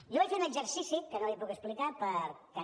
jo vaig fer un exercici que no li puc explicar perquè